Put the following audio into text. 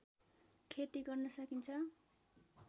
खेती गर्न सकिन्छ